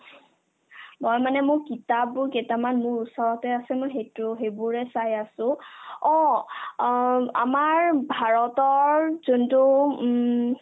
তাৰমানে মোৰ কিতাপবোৰ কেইটামান মোৰ ওচৰতে আছে মই সিটো সেইবোৰে চাই আছো অ অ আমাৰ ভাৰতৰ যোনটো উম